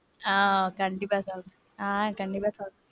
ஆஹ் கண்டிப்பா சொல்றேன். ஆஹ் கண்டிப்பா சொல்றேன்.